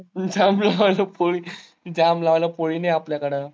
जाम लावायला पोळी, जाम लावायला पोळी नाही आपल्याकडं.